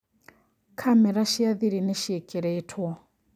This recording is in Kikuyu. Kamera cia thiri nĩ cĩikĩrĩtwo